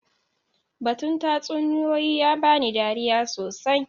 Batun tatsuniyoyi ya ba ni dariya sosai.